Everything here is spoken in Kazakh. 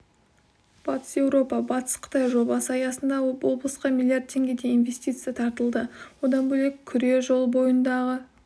батыс еуропа батыс қытай жобасы аясында облысқа миллиард теңгедей инвестиция тартылды одан бөлек күре жол бойындағы